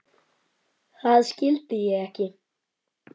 Það skildi ég ekki.